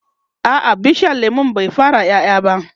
a'a bishiyar lemun bai fara ƴaƴa ba